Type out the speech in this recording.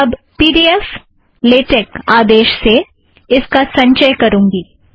अब P D F dot LaTeX आदेश से मैं इसका संचय करूँगी